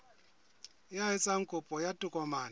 ya etsang kopo ya tokomane